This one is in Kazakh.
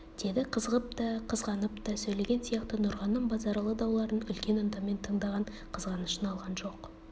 деді қызығып та қызғанып та сөйлеген сияқты нұрғаным базаралы дауларын үлкен ынтамен тыңдаған қызғанышын алған жоқ